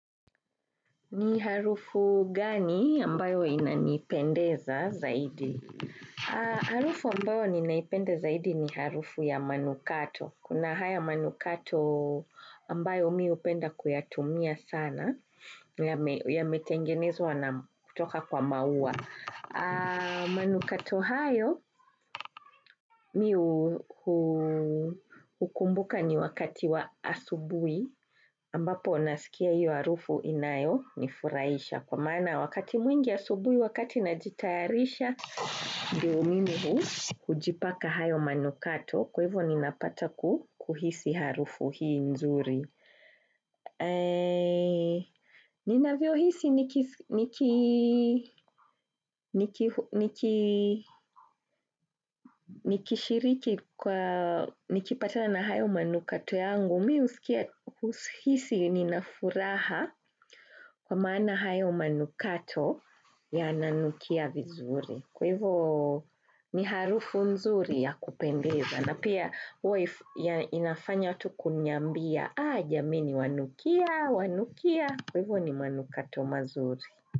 Ni harufu gani ambayo inanipendeza zaidi? Harufu ambayo ninaipenda zaidi ni harufu ya manukato. Kuna haya manukato ambayo mi hupenda kuyatumia sana, yametengenezwa na kutoka kwa maua. Manukato hayo mimi hukumbuka ni wakati wa asubuhi ambapo nasikia hiyo harufu inayo nifurahisha Kwa maana wakati mwingi asubuhi wakati najitayarisha, ndio mimi hujipaka hayo manukato. Kwa hivyo ninapata kuhisi harufu hii nzuri. Ninavyo hisi niki nikishiriki kwa Nikipatana na hayo manukato yangu, mihuhisi ninafuraha kwa maana hayo manukato yananukia vizuri. Kwa hivyo ni harufu nzuri ya kupendeza na pia huwa inafanya watu kuniambia, aah jameni wanukia, wanukia, kwa hivyo ni manukato mazuri.